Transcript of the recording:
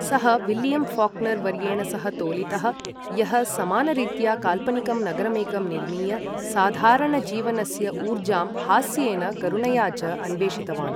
सः William Faulkner वर्येण सह तोलितः, यः समानरीत्या काल्पनिकं नगरमेकं निर्मीय साधारणजीवनस्य ऊर्जां हास्येन करुणया च अन्वेषितवान्।